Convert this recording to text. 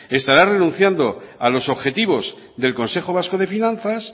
estará renunciando a los objetivos del consejo vasco de finanzas